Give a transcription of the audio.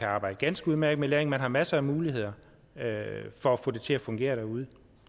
arbejde ganske udmærket med læring man har masser af muligheder for at få det til at fungere derude